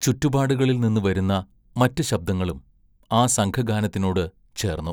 ചുറ്റുപാടുകളിൽനിന്ന് വരുന്ന മറ്റ് ശബ്ദങ്ങളും ആ സംഘഗാനത്തിനോട് ചേർന്നു.